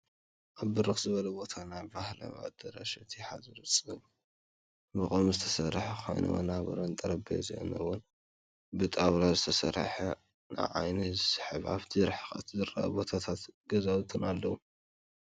ኣብ ብርክ ዝበለ ቦታ ናይ ባህላዎ ኣዳራሽ እቲ ሓፁሩ ብቆም ዝተሰርሐ ኮይኑ ወናብሩን ጠረቤዝኡን እውን ብጣውዐላ ዝተሰርሐ ንዓይኒ ዝስሕብ ኣብቲ ብርሕቀት ዝርአ ጎቦታትን ገዛውትን ኣለዉ።